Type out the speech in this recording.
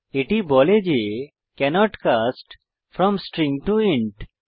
এটি বলে যে can't cast from string to int